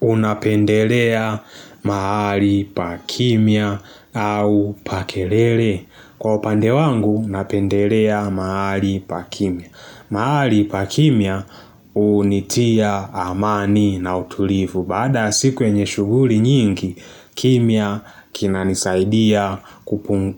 Unapendelea mahali pa kimya au pa kelele? Kwa upande wangu napendelea mahali pakimya. Mahali pakimya hunitia amani na utulivu. Baada ya siku yenye shuguli nyingi, kimya kinanisaidia